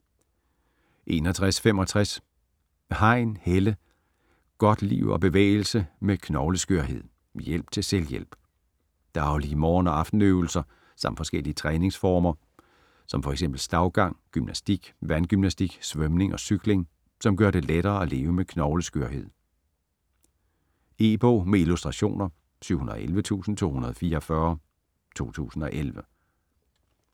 61.65 Hein, Helle: Godt liv og bevægelse med knogleskørhed: hjælp til selvhjælp Daglige morgen- og aftenøvelser samt forskellige træningsformer som fx stavgang, gymnastik, vandgymnastik, svømning og cykling, som gør det lettere at leve med knogleskørhed. E-bog med illustrationer 711244 2011.